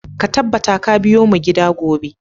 Ka tabbata ka biyo mu gida gobe!